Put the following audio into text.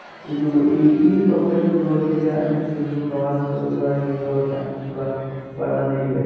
ಇದು ಈ ಈ ಸೊಬಗನ್ನು ನೋಡೊದಿಕ್ಕೆ ಅನೇಕ ಜನರು ಪ್ರವಾಸಿಗಳು ಕೂಡ ಇಲ್ಲಿ ಬರುವ ಚಾನ್ಸಸ್ ಕೂಡ ಬಹಳಾನೇಯಿವೆ .